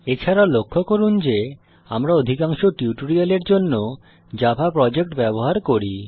এছাড়াও লক্ষ্য করুন যে আমরা অধিকাংশ টিউটোরিয়ালের জন্য জাভা প্রজেক্ট ব্যবহার করি